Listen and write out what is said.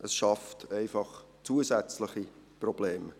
Es schafft einfach zusätzliche Probleme.